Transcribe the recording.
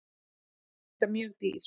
Hann er líka mjög dýr.